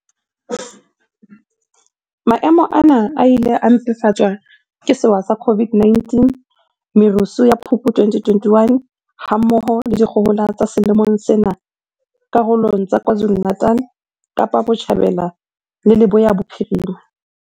Maemo ana a ile a mpefatswa ke sewa sa COVID-19, merusu ya Phupu 2021, ha mmoho le dikgohola tsa selemong sena karolong tsa KwaZulu-Natal, Kapa Botjhabela le Leboya Bophirima.